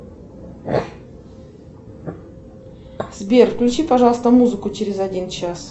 сбер включи пожалуйста музыку через один час